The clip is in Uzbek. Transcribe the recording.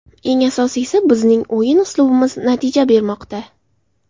Eng asosiysi, bizning o‘yin uslubimiz natija bermoqda.